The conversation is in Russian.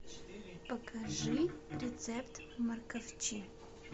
покажи рецепт морковчи